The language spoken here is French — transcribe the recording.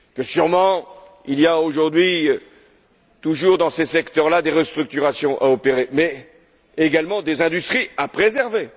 Sûrement, il y a aujourd'hui toujours, dans ces secteurs là, des restructurations à opérer, mais également des industries à préserver.